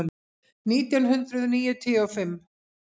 Nítján hundruð níutíu og fimm